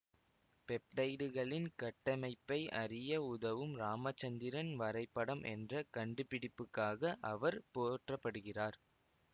பெப்டைடுகளின் கட்டமைப்பை அறிய உதவும் இராமச்சந்திரன் வரைபடம் என்ற கண்டுபிடிப்புக்காக அவர் போற்றப்படுகிறார்